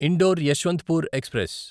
indoor Yeshwantpur express